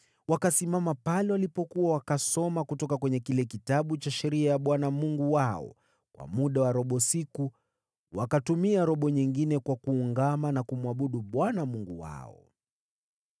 Wakasimama pale walipokuwa, wakasoma kutoka kwenye kile Kitabu cha Sheria ya Bwana Mungu wao kwa muda wa robo siku, na wakatumia robo nyingine kwa kuungama dhambi na kumwabudu Bwana Mungu wao.